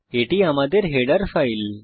এটি আমাদের header file